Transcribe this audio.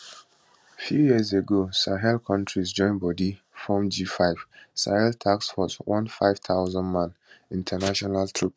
few years ago sahel kontris join bodi form g5 sahel task force one 5000man international troop